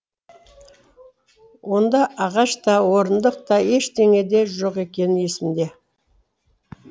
онда ағаш та орындық та ештеңе де жоқ екені есімде